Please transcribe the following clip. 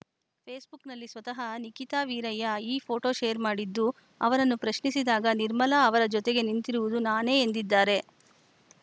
ಫೇಸ್‌ಬುಕ್‌ನಲ್ಲಿ ಸ್ವತಃ ನಿಖಿತಾ ವೀರಯ್ಯ ಈ ಫೋಟೋ ಶೇರ್‌ ಮಾಡಿದ್ದು ಅವರನ್ನು ಪ್ರಶ್ನಿಸಿದಾಗ ನಿರ್ಮಲಾ ಅವರ ಜೊತೆಗೆ ನಿಂತಿರುವುದು ನಾನೇ ಎಂದಿದ್ದಾರೆ